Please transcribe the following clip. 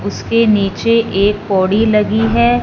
उसके नीचे एक पोड़ी लगी है।